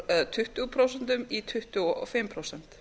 úr tuttugu prósent í tuttugu og fimm prósent